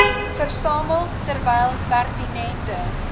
versamel terwyl pertinente